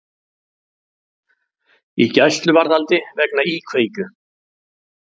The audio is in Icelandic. Í gæsluvarðhaldi vegna íkveikju